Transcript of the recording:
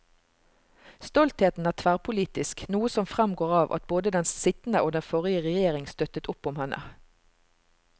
Stoltheten er tverrpolitisk, noe som fremgår av at både den sittende og den forrige regjering støttet opp om henne.